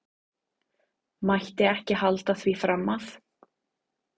Mætti ekki halda því fram að.